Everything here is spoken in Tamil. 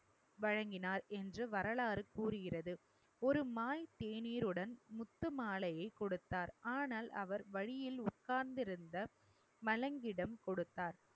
வழங்கினார் என்று வரலாறு கூறுகிறது. ஒரு மாய் தேனீருடன் முத்து மாலையைக் கொடுத்தார். ஆனால் அவர் வழியில் உட்கார்ந்திருந்த மலங்கிடம் கொடுத்தார்